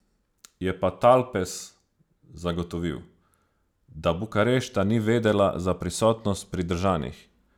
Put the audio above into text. Je pa Talpes zagotovil, da Bukarešta ni vedela za prisotnost pridržanih.